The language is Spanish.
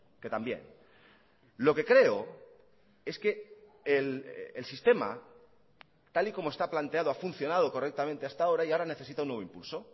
que también lo que creo es que el sistema tal y como está planteado ha funcionado correctamente hasta ahora y ahora necesita un nuevo impulso